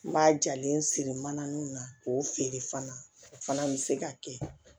N b'a jalen siri mana ninnu na k'o feere fana o fana bɛ se ka kɛ